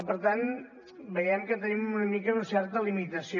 per tant veiem que tenim una mica una certa limitació